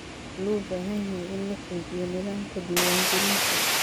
Waxa loo baahan yahay in la xoojiyo nidaamka diwaan gelinta.